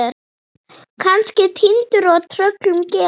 Kannski týndur og tröllum gefinn.